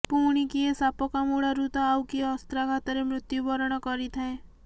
ପୁଣି କିଏ ସାପ କାମୁଡ଼ାରୁ ତ ଆଉ କିଏ ଅସ୍ତ୍ରାଘାତରେ ମୃତ୍ୟୁବରଣ କରିଥାଏ